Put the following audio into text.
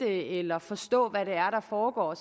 eller forstå hvad det er der foregår